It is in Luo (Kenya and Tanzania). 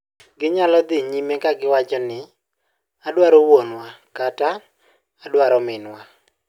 Ginyalo dhi nyime ka giwacho ni "adwaro wuonwa" kata "adwaro minwa".